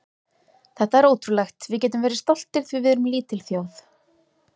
Þetta er ótrúlegt, við getum verið stoltir því við erum lítil þjóð.